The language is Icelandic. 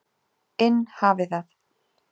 inn hafi það.